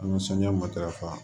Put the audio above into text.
An ka sanɲɔ matarafa